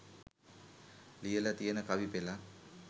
ලියල තියෙන කවි පෙළක්.